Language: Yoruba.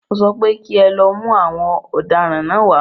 Mọ sọ pé kí ẹ lọ mú àwọn ọ̀daràn náà wá.